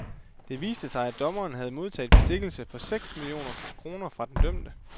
Det viste sig, at dommeren havde modtaget bestikkelse for seks millioner kroner fra den dømte.